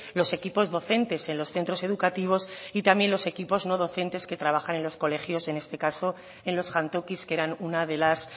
los equipos docentes en los centros educativos y también los equipos no docentes que trabajan en los colegios en este caso en los jantokis que eran una de las